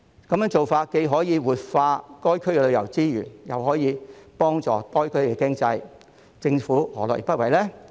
這樣既可活化該區的旅遊資源，又可以幫助該區的經濟，政府何樂而不為呢？